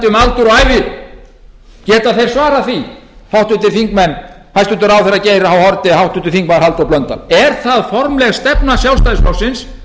og ævi geta þeir svarað því hæstvirtur ráðherra geir h haarde háttvirtur þingmaður halldór blöndal er það formleg stefna sjálfstæðisflokksins